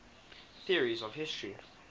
theories of history